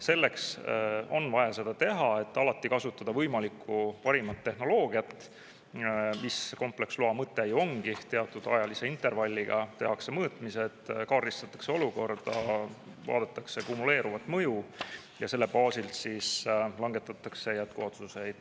Selleks on vaja seda teha, et alati kasutada võimalikku parimat tehnoloogiat, mis kompleksloa mõte ju ongi: teatud ajalise intervalliga tehakse mõõtmised, kaardistatakse olukorda, vaadatakse kumuleeruvat mõju ja selle baasilt langetatakse jätkuotsuseid.